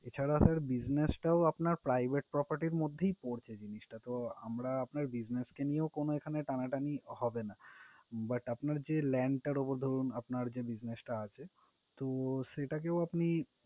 এছাড়া sir business টাও আপনার private property এর মধ্যেই পড়ছে জিনিসটা। তো আমরা আপনার business কে নিয়ে এখানে কোনো টানাটানি হবে না। but আপনার যে land টার উপরে ধরুন আপনার যে business টা আছে তো সেটাকেও আপনি